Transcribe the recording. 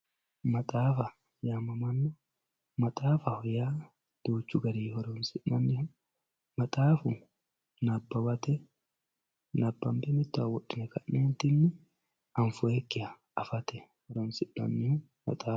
Maxaafaho yamamano maxaafaho yaa duuchu gar horonsinan maxaafu nabawate nabanbe mitowa wodhine kanentini anfoyikiha afate horonsinaniha maxaa